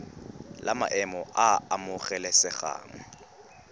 la maemo a a amogelesegang